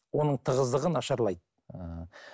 оның тығыздығы нашарлайды ыыы